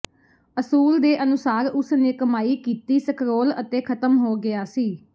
ਅਸੂਲ ਦੇ ਅਨੁਸਾਰ ਉਸ ਨੇ ਕਮਾਈ ਕੀਤੀ ਸਕਰੋਲ ਅਤੇ ਖ਼ਤਮ ਹੋ ਗਿਆ ਸੀ